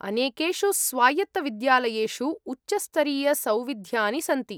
अनेकेषु स्वायत्तविद्यालयेषु उच्चस्तरीयसौविध्यानि सन्ति।